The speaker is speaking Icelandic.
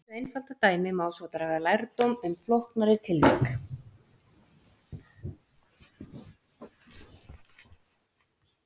Af þessu einfalda dæmi má svo draga lærdóm um flóknari tilvik.